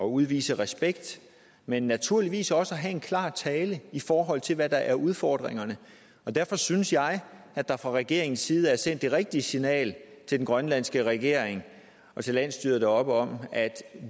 udvise respekt men naturligvis også at have en klar tale i forhold til hvad der er udfordringerne og derfor synes jeg at der fra regeringens side er sendt det rigtige signal til den grønlandske regering og til landsstyret deroppe om at